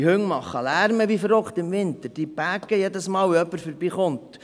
Diese Hunde machen im Winter ausserordentlichen Lärm, sie bellen jedes Mal, wenn jemand vorbeikommt.